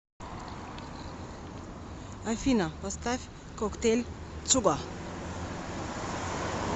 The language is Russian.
афина поставь коктейль цуго